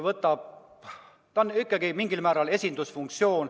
Presidendil on ikkagi mingil määral esindusfunktsioon.